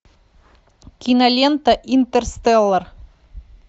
кинолента интерстеллар